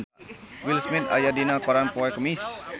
Will Smith aya dina koran poe Kemis